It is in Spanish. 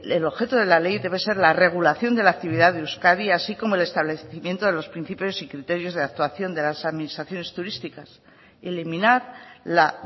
el objeto de la ley debe ser la regulación de la actividad de euskadi así como el establecimiento de los principios y criterios de actuación de las administraciones turísticas y eliminar la